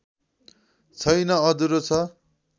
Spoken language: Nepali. छैन अधुरो छ